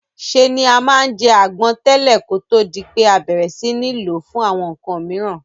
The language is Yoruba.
Se ni a ma n je àgbon tẹ̀lẹ́ kótó di pé a bẹ̀rẹ̀ si ni lo fún àwon nkan miran